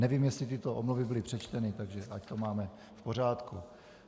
Nevím, jestli tyto omluvy byly přečteny, tak ať to máme v pořádku.